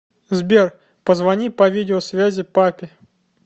сбер позвони по видео связи папе